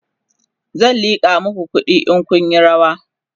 zan liƙa maku kuɗi in Kun Yi rawa